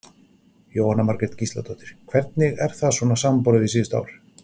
Jóhanna Margrét Gísladóttir: Hvernig er það svona samanborið við síðustu ár?